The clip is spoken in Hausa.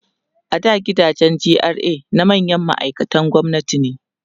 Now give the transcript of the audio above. a da gidajen GRA na manyan ma'aikatan gwamnati ne